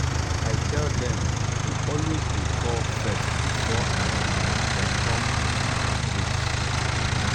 i tell dem i tell dem to always dey call first before um dem come um my place